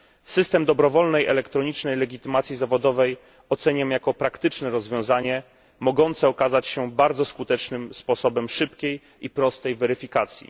System dobrowolnej elektronicznej legitymacji zawodowej oceniam jako praktyczne rozwiązanie mogące okazać się bardzo skutecznym sposobem szybkiej i prostej weryfikacji.